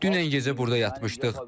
Dünən gecə burda yatmışdıq.